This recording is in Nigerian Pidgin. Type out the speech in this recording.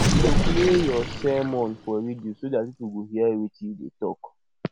we go play your sermon for radio so dat people go hear wetin you dey talk